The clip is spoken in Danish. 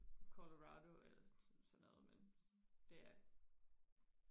Colerado eller sådan noget men det er